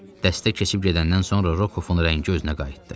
Dəstə keçib gedəndən sonra Rokofun rəngi özünə qayıtdı.